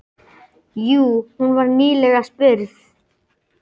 Jú, hún var nýlega spurð.